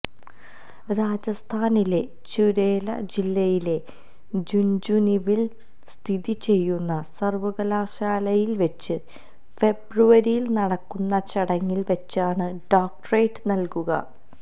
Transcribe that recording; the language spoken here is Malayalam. രാജസ്ഥാനിലെ ചുരേല ജില്ലയിലെ ജുന്ജുനുവില് സ്ഥിതി ചെയ്യുന്ന സര്വ്വകലാശാലയില് വെച്ച് ഫെബ്രുവരിയില് നടക്കുന്ന ചടങ്ങില് വെച്ചാണ് ഡോക്ടറേറ്റ് നല്കുക